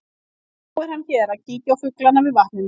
Og nú er hann hér að kíkja á fuglana við vatnið mitt.